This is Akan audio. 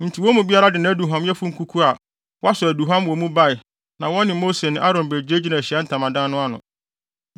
Enti wɔn mu biara de nʼaduhuamyɛfo kuku a wasɔ aduhuam wɔ mu bae na wɔne Mose ne Aaron begyinagyinaa Ahyiae Ntamadan no ano.